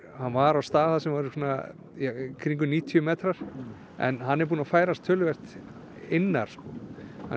hann var á stað þar sem eru í kringum níutíu metrar en hann er búinn að færast töluvert innar hann er